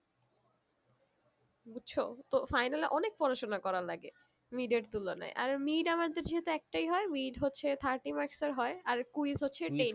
বুঝছো তো final এ অনেক পড়াশোনা করার লাগে mid এর তুলনায় আর mid আমাদের যেহুতু একটাই হয়ে mid হচ্ছে thirty marks এর হয়ে আর quiz হচ্ছে ten